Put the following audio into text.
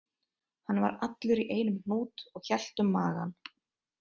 Hann var allur í einum hnút og hélt um magann